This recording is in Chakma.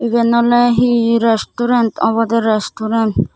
eyan oley he restaurant obodey restaurant.